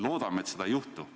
Loodame, et seda ei juhtu.